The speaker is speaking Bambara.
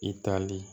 I tali